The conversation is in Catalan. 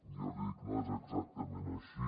jo li dic no és exactament així